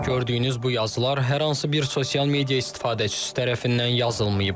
Gördüyünüz bu yazılar hər hansı bir sosial media istifadəçisi tərəfindən yazılmayıb.